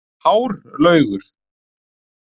Hárlaugur